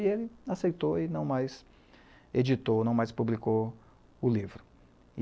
E ele aceitou e não mais editou, não mais publicou o livro.